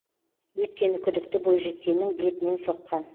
өйткені күдікті бойжеткеннің бетінен соққан